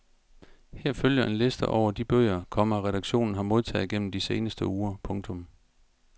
Her følger en liste over de bøger, komma redaktionen har modtaget gennem de seneste uger. punktum